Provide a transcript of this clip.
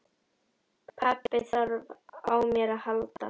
Pabbi þarf á mér að halda.